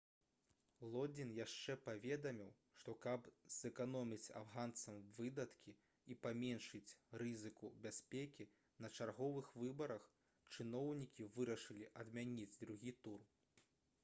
лодзін яшчэ паведаміў што каб зэканоміць афганцам выдаткі і паменшыць рызыку бяспекі на чарговых выбарах чыноўнікі вырашылі адмяніць другі тур